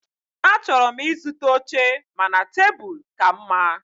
Achọrọ m ịzụta oche mana tebụl ka mma.